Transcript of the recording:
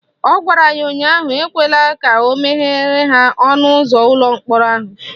Ọ gwara ya ụnyaahụ "Ekwela ka o meghere ha ọnụụzọ ụlọ mkpọrọ ahụ"